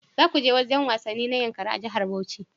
Za ku je wurin wasanni na Yankari a jihar Bauchi?